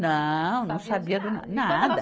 Não, não sabia do nada.